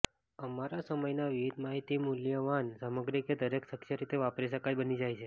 અમારા સમયના વિવિધ માહિતી મૂલ્યવાન સામગ્રી કે દરેક શક્ય રીતે વાપરી શકાય બની જાય છે